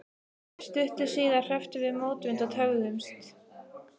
Stuttu síðar hrepptum við mótvind og töfðumst.